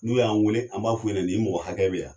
N'u y'an weele, an b'a fɔ u ɲɛna nin mɔgɔ hakɛ bɛ yan.